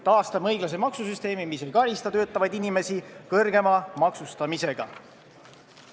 Taastame õiglase maksusüsteemi, mis ei karista töötavaid inimesi suurema maksustamisega!